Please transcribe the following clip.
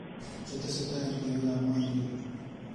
Chetese tai eng logoiwekap ng'wenduni.